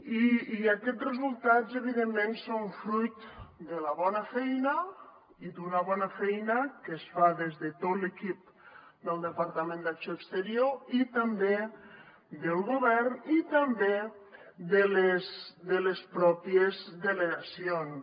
i aquests resultats evidentment són fruit de la bona feina i d’una bona feina que es fa des de tot l’equip del departament d’acció exterior i també del govern i també de les pròpies delegacions